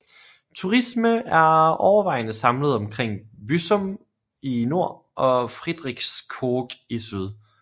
Turisme er overvejende samlet omkring Büsum i nord og Friedrichskoog i syd